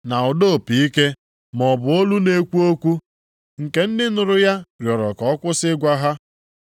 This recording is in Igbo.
na ụda opi ike, maọbụ olu na-ekwu okwu, nke ndị nụrụ ya rịọrọ ka ọ kwụsị ịgwa ha.